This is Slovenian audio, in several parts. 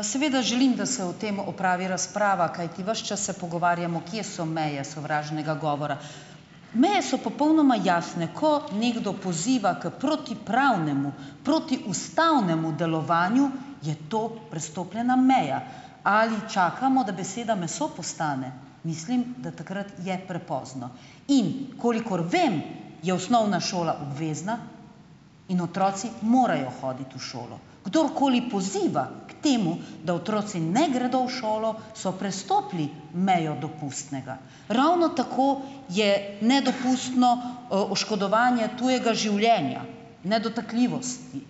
Seveda želim, da se o tem opravi razprava, kajti ves čas se pogovarjamo, kje so meje sovražnega govora. Meje so popolnoma jasne. Ko nekdo poziva k protipravnemu, protiustavnemu delovanju, je to prestopljena meja. Ali čakamo, da beseda meso postane? Mislim, da takrat je prepozno. In kolikor vem, je osnovna šola obvezna in otroci morajo hoditi v šolo. Kdorkoli poziva k temu, da otroci ne gredo v šolo, so prestopili mejo dopustnega. Ravno tako je nedopustno oškodovanje tujega življenja, nedotakljivosti.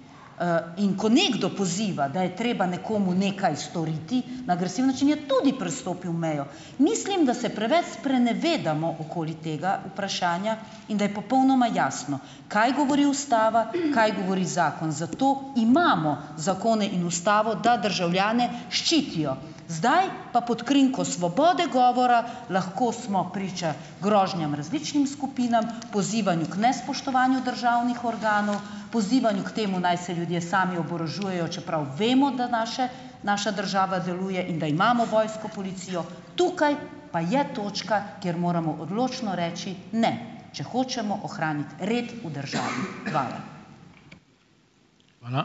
In ko nekdo poziva, da je treba nekomu nekaj storiti na agresiven način, je tudi prestopil mejo, Mislim, da se preveč sprenevedamo okoli tega vprašanja in da je popolnoma jasno, kaj govori ustava, kaj govori zakon. Zato imamo zakone in ustavo, da državljane ščitijo. Zdaj pa pod krinko svobode govora lahko smo priča grožnjam različnim skupinam, pozivanju k nespoštovanju državnih organov, pozivanju k temu, naj se ljudje sami oborožujejo, čeprav vemo, da naše naša država deluje in da imamo vojsko, policijo, tukaj pa je točka, kjer moramo odločno reči ne, če hočemo ohraniti red v državi. Hvala.